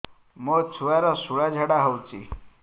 ମୋ ଛୁଆର ସୁଳା ଝାଡ଼ା ହଉଚି